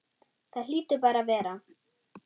Það hlýtur bara að vera.